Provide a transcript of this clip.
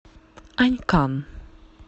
анькан